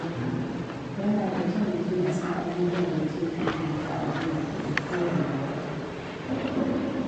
Yana da kyau mutum ya san abubuwan da zai fifita a biyan kuɗi kowanne wata.